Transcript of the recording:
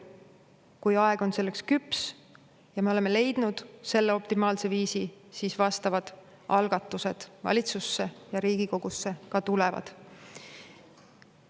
Kui aeg on selleks küps ja me oleme leidnud selleks optimaalse viisi, siis vastavad algatused valitsusse ja Riigikogusse ka tulevad.